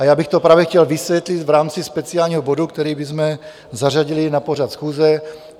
A já bych to právě chtěl vysvětlit v rámci speciálního bodu, který bychom zařadili na pořad schůze.